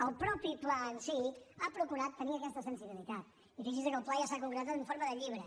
el mateix pla en si ha procurat tenir aquesta sensibilitat i fixi’s que el pla ja s’ha concretat en forma de llibre